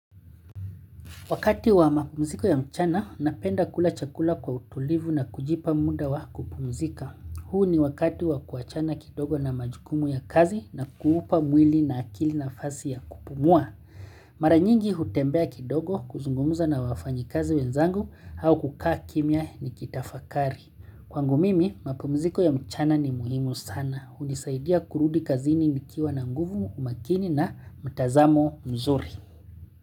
Wakati wa mapumziko ya mchana, napenda kula chakula kwa utulivu na kujipa muda wa kupumzika. Huu ni wakati wa kuachana kidogo na majukumu ya kazi na kuupa mwili na akili nafasi ya kupumua. Maranyingi hutembea kidogo kuzungumuza na wafanyi kazi wenzangu au kukaa kimya nikitafakari. Kwangu mimi, mapumziko ya mchana ni muhimu sana. Hunisaidia kurudi kazini nikiwa na nguvu umakini na mtazamo mzuri.